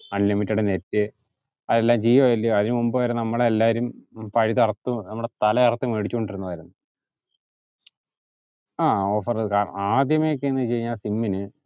unlimited net അതെല്ലാം ജിയോ അല്ലയോ അതിനു മുമ്പ് നമ്മൾ എല്ലാരും പൈസ അറുത്തു നമ്മടെ തല അറുത്തു മേടിച്ചോണ്ടിരുന്നതല്ലേ ആ offer ഏർ ആദ്യമൊക്കെ എന്താ ചെയ്യാ sim ന്